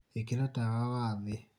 ĩkĩra tawa wa thĩ